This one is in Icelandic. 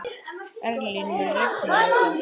Erlín, mun rigna í dag?